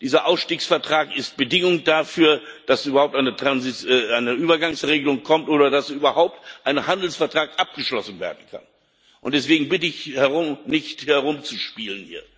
Dieser Ausstiegsvertrag ist Bedingung dafür, dass eine Übergangsregelung kommt oder dass überhaupt ein Handelsvertrag abgeschlossen werden kann. Deswegen bitte ich, hier nicht herumzuspielen.